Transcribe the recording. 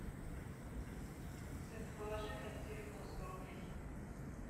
сын положи мне на телефон сто рублей